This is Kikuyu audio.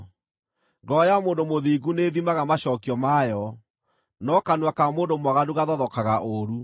Ngoro ya mũndũ mũthingu nĩĩthimaga macookio mayo, no kanua ka mũndũ mwaganu gathothokaga ũũru.